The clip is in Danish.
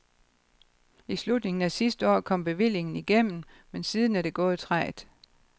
I slutningen af sidste år kom bevillingen igennem, men siden er det gået trægt.